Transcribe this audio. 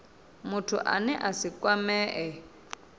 muthu ane a si kwamee